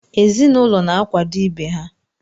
Ezinụlọ na-akwado ibe ha.